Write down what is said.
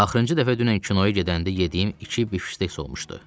Axırıncı dəfə dünən kinoya gedəndə yediyim iki bifşteks olmuşdu.